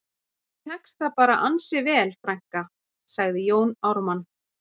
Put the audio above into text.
Og þér tekst það bara ansi vel frænka, sagði Jón Ármann